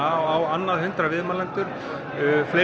á annað hundrað viðmælendur hver er